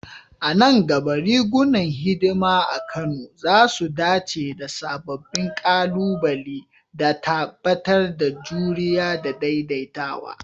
A nan gaba, rigunan hidima a Kano za su dace da sababbin ƙalubale, da tabbatar da juriya da daidaitawa.